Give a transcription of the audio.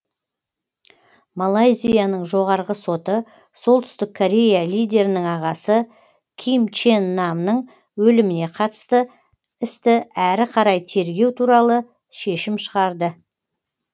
малайзияның жоғарғы соты солтүстік корея лидерінің ағасы ким чен намның өліміне қатысты істі әрі қарай тергеу туралы шешім шығарды